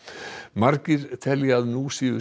margir telja að nú séu